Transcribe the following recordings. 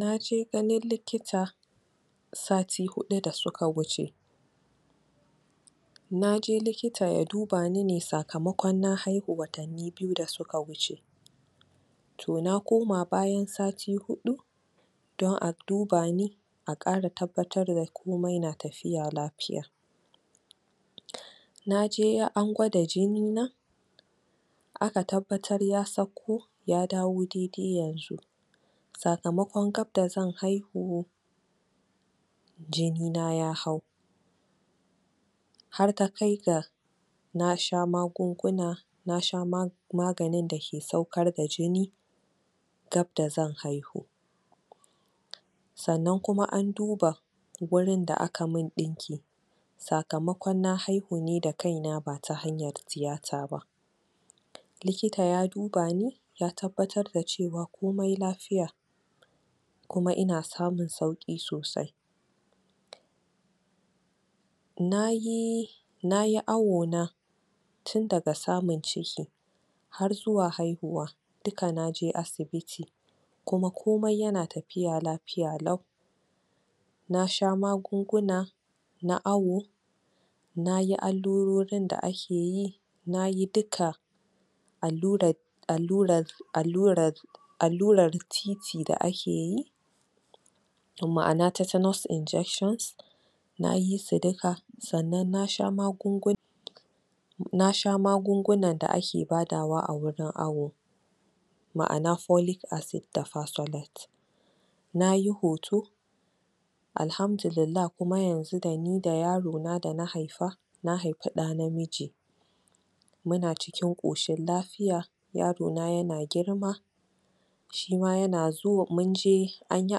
Na je ganin likita sati huɗu da suka wuce na je likita ya duba ni ne sakamakon na haihu watanni biyu da suka wuce to na koma bayan sati huɗu don a duba ni a ƙara tabbatar da komai na tafiya lafiya na je an gwada jinina aka tabbatar ya sauko ya dawo daidai yanzu sakamakon gab da zan haihu jinina ya hau har ta kai ga na sha magunguna na sha maganin dake saukar da jini gab da zan haihu sannan kuma an duba gurin da aka mun ɗinki sakamakon na haihu ne da kaina ba ta hanyar tiyata ba likita ya duba ni ya tabbatar da cewa komai lafiya kuma ina samun sauƙi sosai na yi... na yi awona tun daga samun ciki har zuwa haihuwa duka na je asibiti kuma komai yana tafiya lafiya lau na sha magunguna na awo na yi allurorin da ake yi na yi duka allurar allurar allurar allurar TT da ake yi ma'ana titanous injection na yi su duka sannan na sha magunguna na sha magungunan da ake badawa a wurin awo ma'ana folic acid da pysolate na yi hoto Alhamdulillah kuma yanzu da ni da yarona da na haifa na haifi ɗa namiji muna cikin ƙoshin lafiya yarona yana girma shi ma yana zo... mun je an yi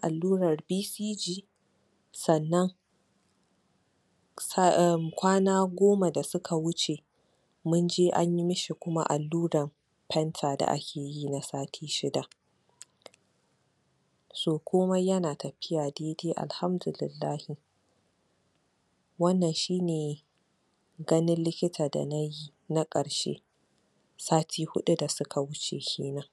allurar BCG sannan emmm kwana goma da suka wuce mun je an yi mi shi kuma allurar fenta da ake yi na sati shida so komai yana tafiya daidai, Alhamdulillahi wannan shi ne ganin likita da na yi sati hudu da suka wuce kenan.